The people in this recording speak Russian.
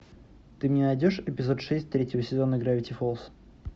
ты мне найдешь эпизод шесть третьего сезона гравити фолз